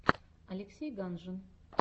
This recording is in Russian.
алексей ганжин